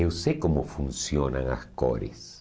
Eu sei como funcionam as cores.